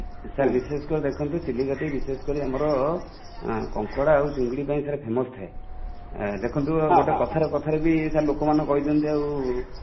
sir ବିଶେଷ କରି ଦେଖନ୍ତୁ ଚିଲିକା ଟା ବିଶେଷ କରି ଆମର କଙ୍କଡା ଆଉ ଚିଙ୍ଗୁଡ଼ି ପାଇଁ ସାର famous ଥାଏ | ଦେଖନ୍ତୁ ଗୋଟେ କଥା କଥା ରେ ବି sir ଲୋକ ମାନେ କହି ଦିଅନ୍ତି ଆଉ